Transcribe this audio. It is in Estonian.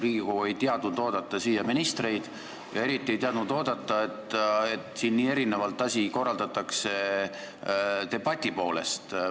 Riigikogu ei teadnud oodata siia ministreid ja eriti ei teadnud oodata, et debatt siin nii erinevalt korraldatakse.